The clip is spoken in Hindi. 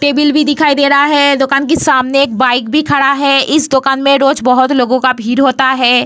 टेबल भी दिखाई दे रहा है दुकान के सामने एक बाइक भी खड़ा है इस दुकान में रोज बहुत भीड़ भी होता है।